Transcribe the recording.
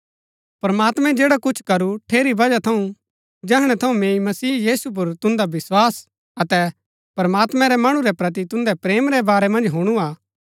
प्रमात्मैं जैड़ा कुछ करू ठेरी बजहा थऊँ जैहणै थऊँ मैंई मसीह यीशु पुर तुन्दा विस्वास अतै प्रमात्मैं रै मणु रै प्रति तुन्दै प्रेम रै बारै मन्ज हुणु हा